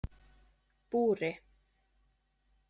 Búri